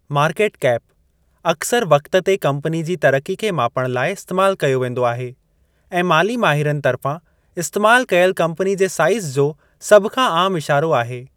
Market cap अक्सर वक़्त ते कम्पनी जी तरिक़ी खे मापणु लाइ इस्तेमाल कयो वेंदो आहे ऐं माली माहिरनि तर्फ़ां इस्तेमाल कयल कम्पनी जे साईज़ जो सभ खां आमु इशारो आहे।